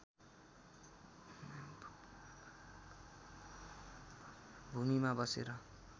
भूमिमा बसेर